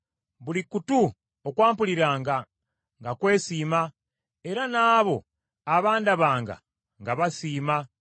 Buli kutu okwampuliranga nga kwesiima, era n’abo abandabanga nga basiima